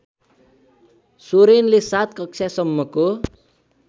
सोरेनले ७ कक्षासम्मको